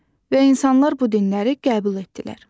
Və insanlar bu dinləri qəbul etdilər.